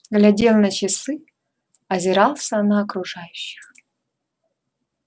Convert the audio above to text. глядел на часы озирался на окружающих